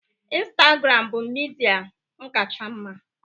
Instagram bụ midia m kacha mma